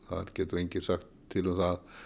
það getur enginn sagt til um það